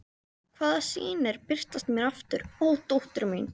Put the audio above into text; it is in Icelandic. hvaða sýnir birtast mér aftur, ó dóttir mín.